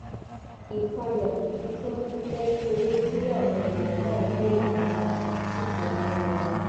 ìpayà ibi tí wọn ti fẹẹ rí owó tí àwọn èèyàn náà ń béèrè fún sì ti mú wọn